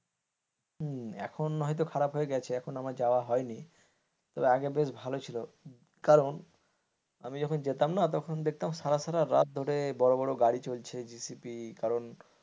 হম এখন হয়তো খারাপ হয়ে গেছে এখন আমার যাওয়া হয়নি তা আগে বেশ ভাল ছিল কারণ আমি যখন যেতাম না তখন দেখতাম সারা সারারাত ধরে বড় বড় গাড়ি চলছে জেসিপি কারণ,